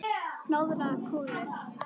Hnoðar kúlur.